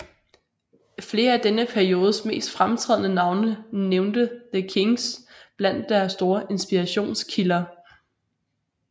Flere af denne periodes mest fremtrædende navne nævnte The Kinks blandt deres store inspirationskilder